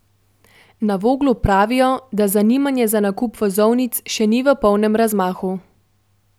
Na Voglu pravijo, da zanimanje za nakup vozovnic še ni v polnem razmahu.